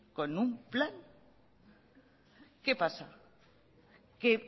con un plan qué pasa que